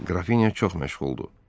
Qrafinya çox məşğuldur.